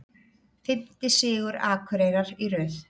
Fimmti sigur Akureyrar í röð